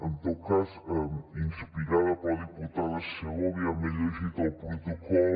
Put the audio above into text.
en tot cas inspirada per la diputada segovia m’he llegit el protocol